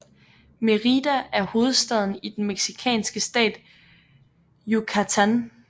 Mérida er hovedstaden i den mexicanske stat Yucatán